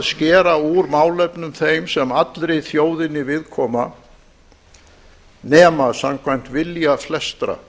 skera úr málefnum þeim sem allri þjóðinni viðkoma nema samkvæmt vilja flestra